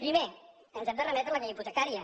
primer ens hem de remetre a la llei hipotecària